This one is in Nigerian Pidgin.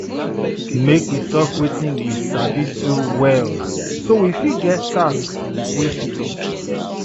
Make we talk wetin we sabi do well so we fit give task wey fit us.